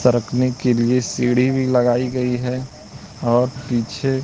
सरकने के लिए सीढ़ी भी लगाई गई है और पीछे--